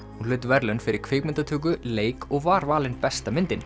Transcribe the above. hún hlaut verðlaun fyrir kvikmyndatöku leik og var valin besta myndin